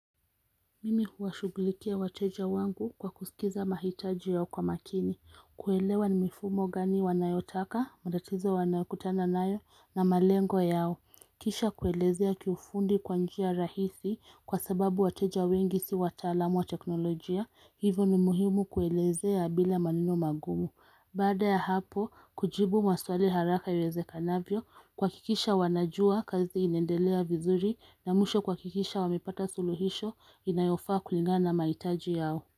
Mimi huwashugulikia wateja wangu kwa kusikiza mahitaji yao kwa makini, kuelewa ni mifumo gani wanayotaka, matatizo wanayokutana nayo na malengo yao. Kisha kuelezea kiufundi kwa njia rahisi kwa sababu wateja wengi si wataalamu wa teknolojia, hivo ni muhimu kuelezea bila maneno magumu. Baada ya hapo, kujibu maswali haraka iwezekanavyo kuhakikisha wanajua kazi inaendelea vizuri na mwisho kuhakikisha wamepata suluhisho inayofaa kulingana na mahitaji yao.